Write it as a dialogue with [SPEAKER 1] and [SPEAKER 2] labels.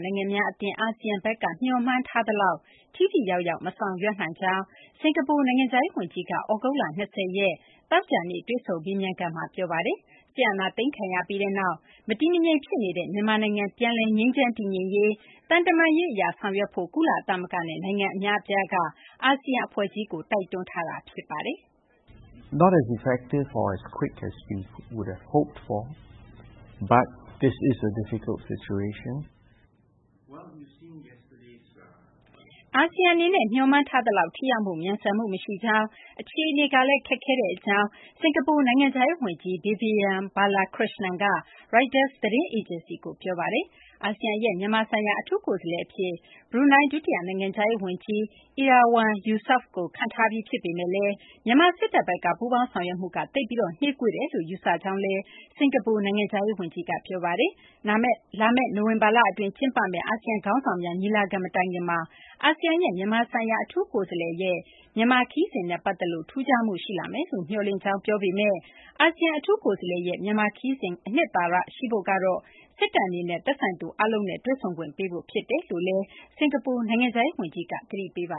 [SPEAKER 1] နိုင်ငံများ အသင်း အာဆီယံဘက်က မျှော်မှန်း ထားသလောက် ထိထိရောက်ရောက် မဆောင်ရွက်နိုင်ကြောင်း စကာၤပူနိုင်ငံခြားရေး ဝန်ကြီးက သြဂုတ်လ ၂၀ ရက် သောကြာနေ့ တွေ့ဆုံ မေးမြန်းခန်းမှာ ပြောပါတယ်။ စစ်အာဏာသိမ်းခံရပြီးနောက် မတည်မငြိမ် ဖြစ်နေတဲ့ မြန်မာနိုင် ပြန်လည် ငြိမ်းချမ်း တည်ငြိမ်ရေးကို သံတမန်ရေး အရ ဆောင်ရွက်ဖို့ ကုလသမဂ္ဂနဲ့ နိုင်ငံအများအပြားက အာဆီယံ အဖွဲ့ကြီးကို တိုက်တွန်းထားတာပါ။ အာဆီယံ အနေနဲ့ မျှော်မှန်းထားသလောက် ထိရောက်မှု၊ မြန်ဆန်မှု မရှိကြောင်း၊ အခြေအနေကလည်း ခက်ခဲတဲ့ အကြောင်း စကာၤပူ နိုင်ငံခြားရေး ဝန်ကြီး Vivian Balakrishanan က ရိုက်တာ သတင်းအေဂျင်စီကို ပြောပါတယ်။ အာဆီယံရဲ့ မြန်မာဆိုင်ရာ အထူးကိုယ်စားလှယ် အဖြစ် ဘရူးနိုင်း ဒုတိယ နိုင်ငံခြားရေး ဝန်ကြီး Erywan Yusof ကို ခန့်အပ်ထားပြီး ဖြစ်ပေမယ့်လည်း မြန်မာ စစ်တပ်ဘက်က ပူးပေါင်းဆောင်ရွက်မှုက သိပ်ပြီး နှေးကွေးနေတယ်လို့ ယူဆကြောင်းလည်း စကာၤပူ နိုင်ငံခြားရေး ဝန်ကြီးက ပြောပါတယ်။ လာမယ့် နိုဝင်ဘာလ အတွင်း ကျင်းပမယ့် ASEAN ခေါင်းဆောင်းများ ညီလာခံ မတိုင်ခင်မှာ အာဆီယံရဲ့ မြန်မာဆိုင်ရာ အထူးကိုယ်စားလှယ် Erywan Yusof ရဲ့ မြန်မာ ခရီးစဉ်နဲ့ ပတ်သက်လို့ ထူခြားမှု ရှိလာမယ်လို့ မျှော်လင့်ကြောင်းလည်း စကာၤပူ နိုင်ငံခြားရေး ဝန်ကြီးက ပြောပါတယ်။ ဒါပေမယ့်လည်း အာဆီယံ အထူးကိုယ်စားလှယ်ရဲ့ မြန်မာနိုင်ငံ ခရီးစဉ် အနှစ်သာရ ရှိဖို့ကတော့ စစ်တပ် အနေနဲ့ သက်ဆိုင်သူ အားလုံးနဲ့ တွေ့ဆုံခွင့် ပေးဖို့ ဖြစ်တယ်လို့လည်း စကာၤပူ နိုင်ငံခြားရေး ဝန်ကြီးက သတိပေး ပ